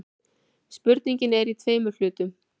Spurningin er í tveimur hlutum.